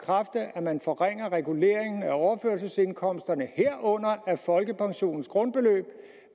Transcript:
at man forringer reguleringen af overførselsindkomsterne herunder af folkepensionens grundbeløb